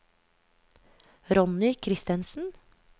Ronny Kristensen